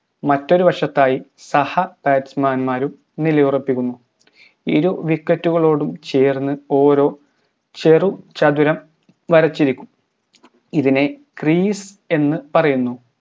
മറ്റൊരു വശത്തായി സഹ batsman മാരും നില ഉറപ്പിക്കുന്നു ഇരു wicket കളോടും ചേർന്ന് ഓരോ ചെറു ചതുരം വരച്ചിരിക്കും ഇതിനെ crease എന്ന് പറയുന്നു